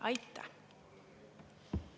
Aitäh!